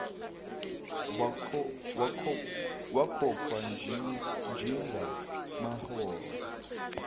wakhokhwa njenga maholo